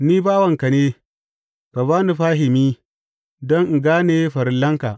Ni bawanka ne, ka ba ni fahimi don in gane farillanka.